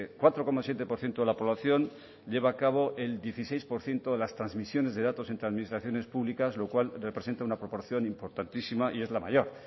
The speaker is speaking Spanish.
cuatro coma siete por ciento de la población lleva a cabo el dieciséis por ciento de las transmisiones de datos entre administraciones públicas lo cual representa una proporción importantísima y es la mayor